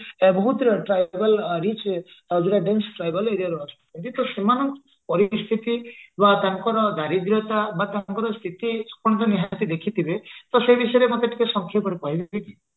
ବହୁତ tribal ଆଉ rich ଆଉ dense tribal area ରୁ ଆସୁଛନ୍ତି ତ ସେମାନଙ୍କ ପରିସ୍ଥିତି ବା ତାଙ୍କର ଦାରିଦ୍ରତା ବା ତାଙ୍କର ସ୍ଥିତି ଆପଣ ତ ନିହାତି ଦେଖିଥିବେ ତ ସେଇ ବିଷୟରେ ମତେ ଟିକେ ସଂକ୍ଷେପରେ କହିବେ କି